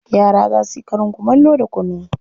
Yara za su yi karin kumallo da kunu.